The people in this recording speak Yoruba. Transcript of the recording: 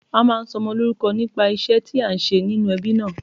A máa ń sọmọ lórúko nípa ìṣé tí a n ṣe nínú ebí náà